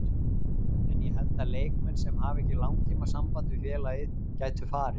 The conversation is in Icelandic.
En ég held að leikmenn sem hafa ekki langtíma samband við félagið gætu farið.